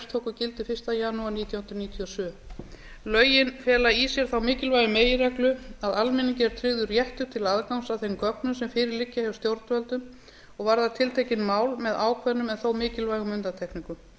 tóku gildi fyrsta janúar nítján hundruð níutíu og sjö lögin fela í sér þá mikilvægu meginreglu að almenningi er tryggður réttur til aðgangs að þeim gögnum sem fyrir liggja hjá stjórnvöldum og varða tiltekin mál með ákveðnum en þó mikilvægum undantekningum